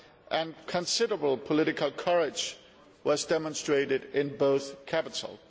and considerable political courage was demonstrated in both capitals.